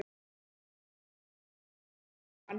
Lillý: Líst ykkur ekkert á hann?